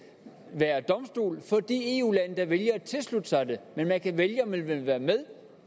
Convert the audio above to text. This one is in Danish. være domstol for de eu lande der vælger at tilslutte sig det men man kan vælge om man vil være med